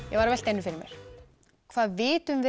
ég var að velta einu fyrir mér hvað vitum við